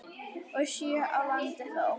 og sjö á landi þó.